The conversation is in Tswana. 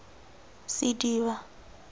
sediba